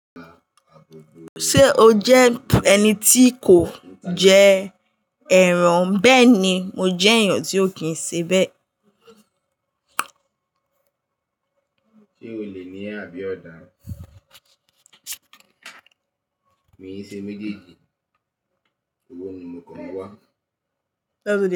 Ṣé o jẹ́ ẹni tí kò jẹ ẹran? Bẹ́ẹ̀ ni, mo jẹ́ èèyàn tí ó kìn sebẹ̀